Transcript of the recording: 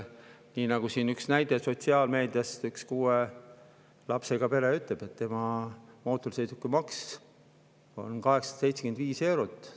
Siin toodi näide sotsiaalmeediast: üks kuue lapsega pere ütleb, et tema mootorsõidukimaks on 875 eurot.